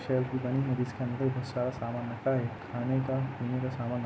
जिसके अन्दर सारा सामान रखा है खाने का पिने का सामान --